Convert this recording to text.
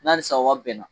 N'a sa wa bɛnna